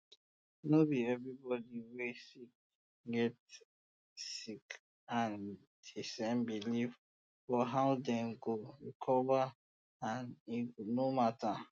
no be everybody wey sick get sick get di same belief for how dem go recover and e no matter